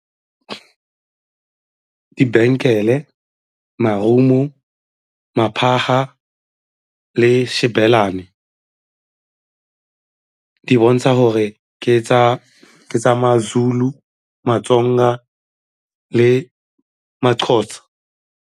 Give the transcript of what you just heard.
Di-bangle-e, marumo, maphata le xibelane di bontsha gore ke tsa ma-Zulu, ma-Tsonga le ma-Xhosa.